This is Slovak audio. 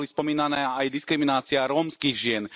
Boli spomínané aj diskriminácie rómskych žien.